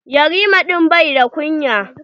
Yarima din bai da kunya.